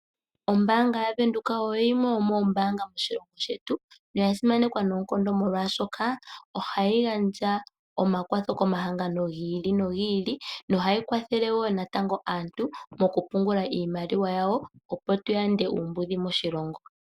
Ombaanga yaVenduka oyo yimwe yomoombaanga moshilongo shetu noya simanekwa noonkondo molwaashoka ohayi gandja omakwatho komahangano gi ili nogi ili nohayi kwathele woo natango aantu mokupungula iinaliwa yawo opo tu yande uumbudhi moshilongo.